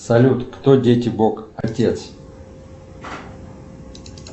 салют кто дети бог отец